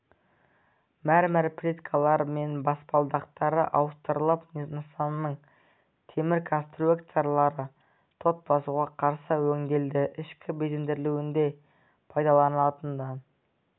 мәрмәр плиткалар мен баспалдақтары ауыстырылып нысанның темір конструкциялары тот басуға қарсы өңделді ішкі безендірілуінде пайдаланылатын